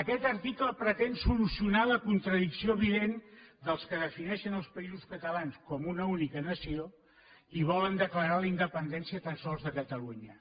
aquest article pretén solucionar la contradicció evident dels que defineixen els països catalans com una única nació i volen declarar la independència tan sols de catalunya